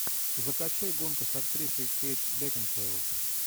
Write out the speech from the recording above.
закачай гонка с актрисой кейт бекинсейл